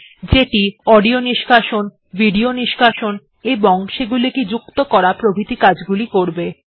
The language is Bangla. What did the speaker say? যেটি যেমন অডিও নিষ্কাশন করা ভিডিও নিষ্কাশন করা এবং সেগুলিকে যুক্ত করা প্রভৃতি কাজগুলি করবে